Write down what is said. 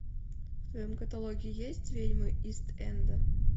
в твоем каталоге есть ведьмы ист энда